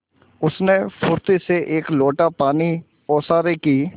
उसने फुर्ती से एक लोटा पानी ओसारे की